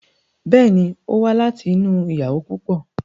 Bẹ́ẹ̀ ni, ó wá láti inú ìyàwó púpọ̀.